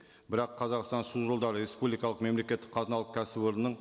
бірақ қазақстан су жолдары республикалық мемлекеттік қазыналық кәсіпорынның